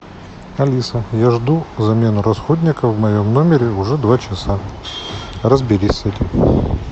алиса я жду замену расходников в моем номере уже два часа разберись с этим